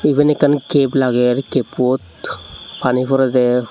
eben ekkan kape lager kappot pani porode.